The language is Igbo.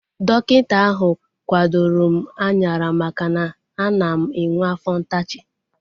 Dọkịta ahu kwadoro m anyara maka na ana m enwe afọ ntachi